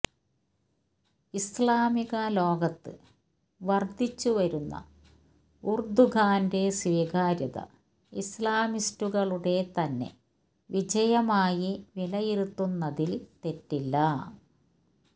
ഇസ്ലാമിക ലോകത്ത് വര്ധിച്ചു വരുന്ന ഉര്ദുഗാന്റെ സ്വീകാര്യത ഇസ്ലാമിസ്റ്റുകളുടെ തന്നെ വിജയമായി വിലയിരുത്തുന്നതില് തെറ്റില്ല